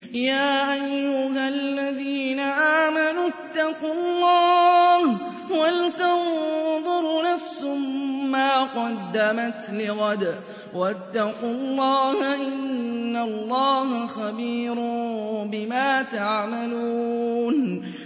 يَا أَيُّهَا الَّذِينَ آمَنُوا اتَّقُوا اللَّهَ وَلْتَنظُرْ نَفْسٌ مَّا قَدَّمَتْ لِغَدٍ ۖ وَاتَّقُوا اللَّهَ ۚ إِنَّ اللَّهَ خَبِيرٌ بِمَا تَعْمَلُونَ